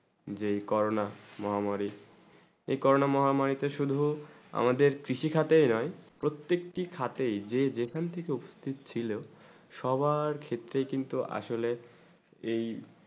যেই করোনা মহামারী এই করোনা মহামারী তে শুধু আমাদের কৃষি খাতে না প্রত্যেক তা খাতে যেই যেখান থেকে ও উপপসিত ছিল সবার ক্ষেত্রে কিন্তু আসলে এই